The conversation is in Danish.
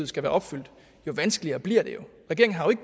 skal være opfyldt jo vanskeligere bliver det